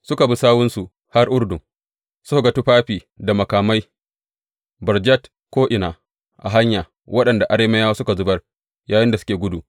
Suka bi sawunsu har Urdun, suka ga tufafi da makamai barjat ko’ina a hanya waɗanda Arameyawa suka zubar yayinda suke gudu.